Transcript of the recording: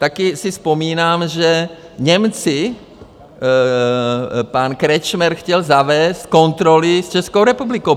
Taky si vzpomínám, že Němci, pan Kretschmer chtěl zavést kontroly s Českou republikou.